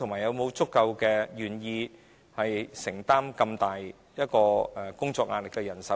有否足夠願意承擔工作壓力如此大的人手？